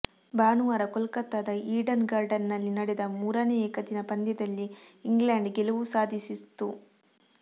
ಭಾನುವಾರ ಕೊಲ್ಕತ್ತಾದ Eden garden ನಲ್ಲಿ ನಡೆದ ಮೂರನೇ ಏಕದಿನ ಪಂದ್ಯದಲ್ಲಿ ಇಂಗ್ಲೆಂಡ್ ಗೆಲುವು ಸಾಧಿಸ್ತು